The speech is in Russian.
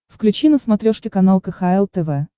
включи на смотрешке канал кхл тв